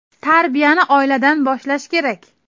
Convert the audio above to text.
Tarbiyani oiladan boshlash kerak.